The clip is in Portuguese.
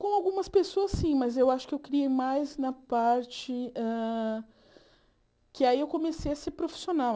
Com algumas pessoas, sim, mas eu acho que eu criei mais na parte hã... Que aí eu comecei a ser profissional.